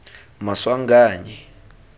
maswanganyi